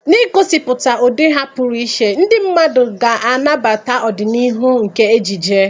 N'igosipụta ụdị ha pụrụ iche, ndị mmadụ ga-anabata ọdịnihu nke ejiji.